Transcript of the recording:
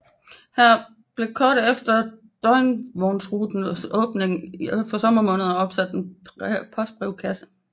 Her blev kort efter dagvognsrutens åbning for sommermånederne opsat en postbrevkasse